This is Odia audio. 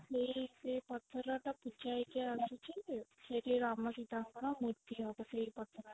ଯେ ସେ ପଥର ଟା ପୂଜା ହେଇକି ଆସୁଛି ସେଥିରେ ରାମ ସୀତା ଙ୍କର ମୂର୍ତ୍ତି ହବ ସେଇ ପଥର ରେ